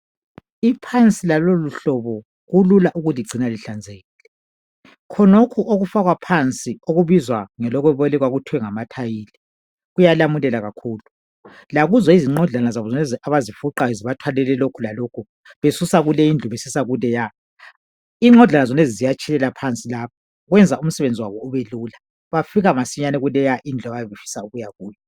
Iphansi laloluhlobo kulula ukulugcina lihlanzekile khonokhu okufakwa phansi okubizwa ngelokuboleka kuthwe ngama tiles kuyalamulela kakhulu lakuzo izinqodlana lezi abazifuqayo zibathwalise nzima kulokhu lalokhu besusa kulezindlu besisa kuleya inqodlana zonezi ziyatshelela phansi lapha kodwa kuyenza umsebenzi wabo ubelula bafika masinyane kulendlu abafisa ukuya kuyo.